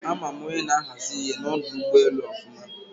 A ma m onye na-ahazi ihe n'odu ugboelu ofuma